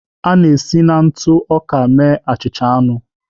A na-esi na ntụ ọka mee achịcha anụ